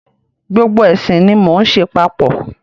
Gbogbo ẹ̀sìn ni mo ń ṣe papọ̀.